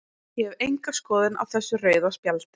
Ég hef enga skoðun á þessu rauða spjaldi.